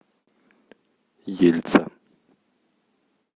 ельца